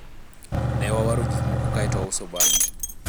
ne wawaro gikmoko kaeto wauso bange